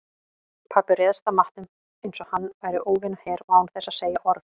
Pabbi réðst að matnum einsog hann væri óvinaher og án þess að segja orð.